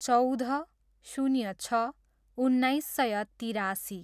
चौध, शून्य छ, उन्नाइस सय तिरासी